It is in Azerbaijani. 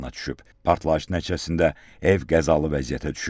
Partlayış nəticəsində ev qəzalı vəziyyətə düşüb.